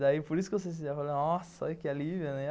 Daí, por isso que eu se sentia... Falei, nossa, que alívio, né?